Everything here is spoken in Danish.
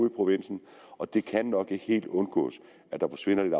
i provinsen og det kan nok ikke helt undgås at der forsvinder lidt